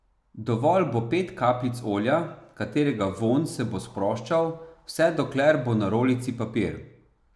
Dovolj bo pet kapljic olja, katerega vonj se bo sproščal, vse dokler bo na rolici papir.